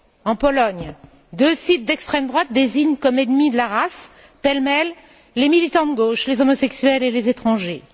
En Pologne, deux sites d'extrême droite désignent comme ennemis de la race, pêle mêle, les militants de gauche, les homosexuels et les étrangers.